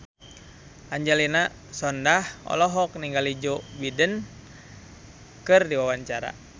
Angelina Sondakh olohok ningali Joe Biden keur diwawancara